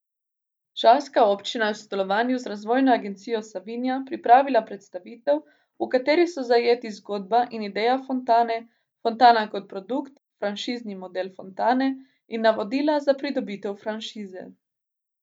Žalska občina je v sodelovanju z Razvojno agencijo Savinja pripravila predstavitev, v kateri so zajeti zgodba in ideja fontane, fontana kot produkt, franšizni model fontane in navodila za pridobitev franšize.